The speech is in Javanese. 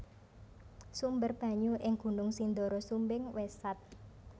Sumber banyu ing Gunung Sindoro Sumbing wis sat